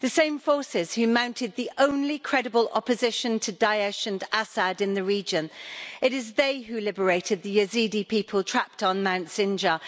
the same forces who mounted the only credible opposition to Daesh and Assad in the region. It is they who liberated the Yazidi people trapped on Mount Sinjar.